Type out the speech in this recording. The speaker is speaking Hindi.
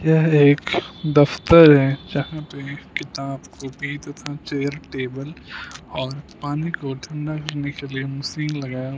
यह एक दफ्तर है जहां पे किताब कॉपी तथा चेयर टेबल और पानी को ठंडा करने के लिए मशीन लगा--